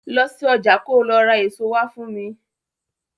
Lọ sí ọjà ko lọ ra èso wá fún mi.